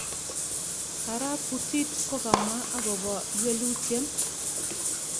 Arap Putit ko kamwa akopa ywelutyen